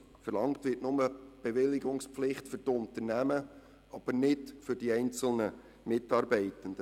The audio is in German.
Verlangt wird nur die Bewilligungspflicht für die Unternehmen, aber nicht für die einzelnen Mitarbeitenden.